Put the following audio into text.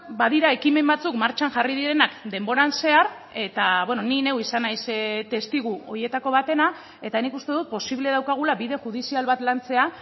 badira ekimen batzuk martxan jarri direnak denboran zehar eta ni neu izan naiz testigu horietako batena eta nik uste dut posible daukagula bide judizial bat lantzea